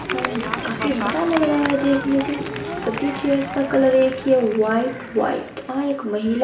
हूं काफी बड़ा लग रहा है देखने से सभी चेयर्स का कलर एक ही है व्हाइट व्हाइट वहाँ एक महिला--